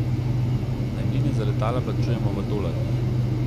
Najemnine za letala plačujemo v dolarjih.